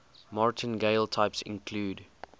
martingale types include